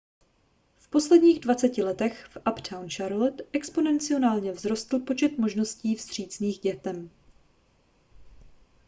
v posledních 20 letech v uptown charlotte exponenciálně vzrostl počet možností vstřícných k dětem